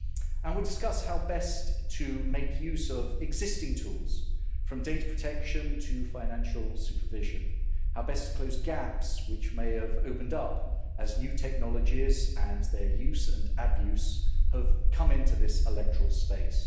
And we discuss how best to make use of existing tools, from data protection to financial supervision, and how best to close gaps which may have opened up as new technologies and their use and abuse have come into this electoral space.